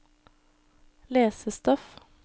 lesestoff